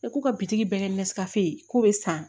E ko ka bitiki bɛɛ kɛ mɛsikasi ye k'o bɛ san